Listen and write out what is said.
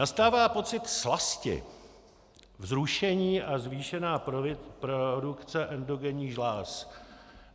Nastává pocit slasti, vzrušení a zvýšená produkce endogenních žláz.